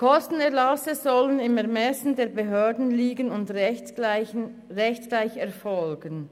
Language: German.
Kostenerlasse sollen im Ermessen der Behörden liegen und rechtsgleich erfolgen.